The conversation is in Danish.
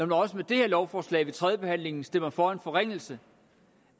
nu også med det her lovforslag ved tredjebehandlingen stemmer for en forringelse